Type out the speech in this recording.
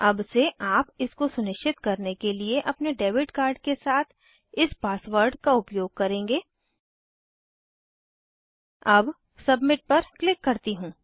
अब से आप इसको सुनिश्चित करने के लिए अपने डेबिट कार्ड के साथ इस पासवर्ड का उपयोग करेंगे अब सबमिट पर क्लिक करती हूँ